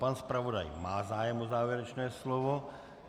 Pan zpravodaj má zájem o závěrečné slovo.